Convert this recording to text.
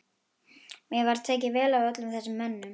Mér var tekið vel af öllum þessum mönnum.